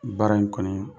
Baara in kɔni